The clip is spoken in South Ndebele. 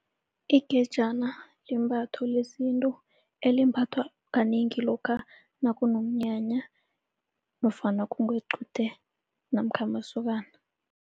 Ingejana limbatho lesintu elimbathwa kanengi lokha nakunomnyanya nofana kungequde namkha amasokana.